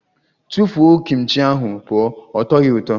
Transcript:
Tụfuo Kim chi ahụ pụọ! Ọ tọghi ụtọ.